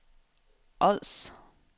Ods